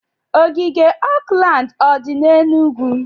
Ogige Oakland o dị n'Enugwu?